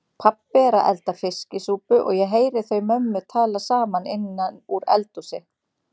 Pabbi er að elda fiskisúpu og ég heyri þau mömmu tala saman innan úr eldhúsi.